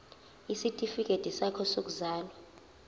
isitifikedi sakho sokuzalwa